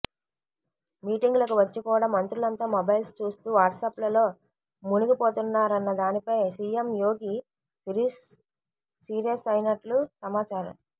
మీటింగ్లకు వచ్చి కూడా మంత్రులంతా మొబైల్స్ చూస్తూ వాట్సాప్లలో మునిగిపోతున్నారన్న దానిపై సీఎం యోగి సీరియస్ అయినట్లు సమాచారం